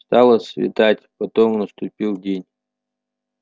стало светать потом наступил день